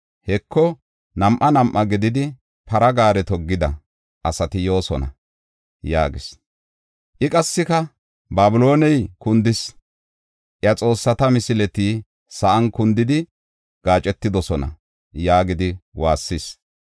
Heko, nam7a nam7a gididi para gaare toggida asati yoosona” yaagis. I qassika, “Babilooney kundis; iya xoossata misileti sa7an kundidi gaacetidosona” yaagidi waassis.